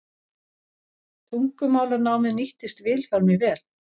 Tungumálanámið nýttist Vilhjálmi vel.